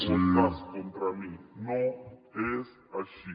o estàs contra mi no és així